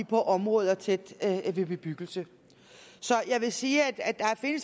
på områder tæt ved bebyggelse så jeg vil sige at der